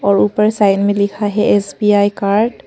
और ऊपर साइड में लिखा है एस_बी_आई कार्ड --